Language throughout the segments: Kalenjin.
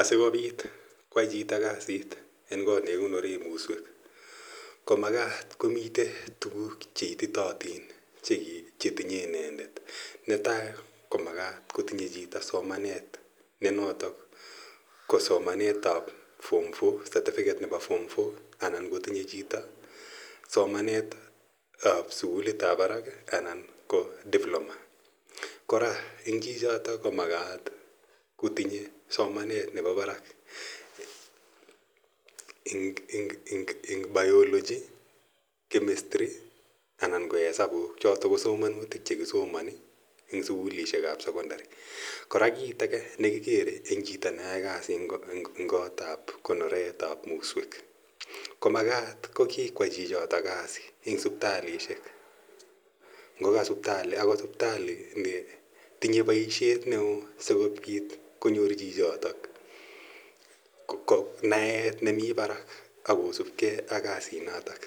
Asikopit koyai chito kasit en kot ne kikonore muswek ko makat komitei tuguuk che ititaatin che tinye inendet. Ne tai ko makat kotinye chito ne notok ko somanet form four , certificate nepo form four anan ko tinye chito somanet ap sukulit ap parak anan ko diploma. Kora eng' chichotok ko makat kotinye somanet nepo parak eng' biology, chemistry anan ko esapuk. Chotok ko somanutik che kisomani eng' sukulishek ap sekondari. Kora chit age ne kikere eng' chito ne yae kasit eng' kot ap konoret ap muswek ko makat ko kikoyai chichotlk kasi eng' siptalishek. Ngoka sipitali ,agot sipitali netinye poishet ne oo si kopit konyor chichotok naet nemi parak ak kosup gei ak kasinoton.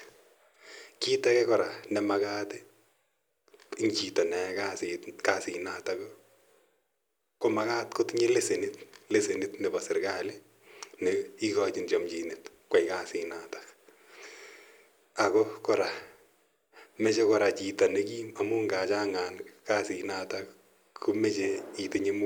Kiit age kora ne makata eng' chito ne yae kasinotok i, ko makat kotinye lesenit nepo serkali na ikachin chamchinet koyai kasinotok. Ako kora, mache chito ne kim amu ngachandan kasinotok ko mache muguleldo ne kim.